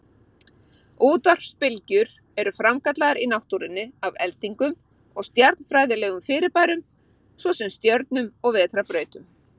Útvarpsbylgjur eru framkallaðar í náttúrunni af eldingum og stjarnfræðilegum fyrirbærum, svo sem stjörnum og vetrarbrautum.